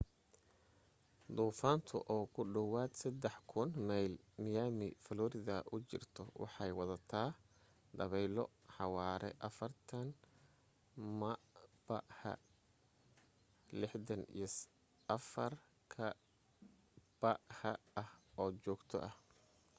duufaantu oo ku dhawaad 3,000 mayl miami florida u jirta waxay wadataa dabaylo xawaare 40 mph64kph ah oo joogto ah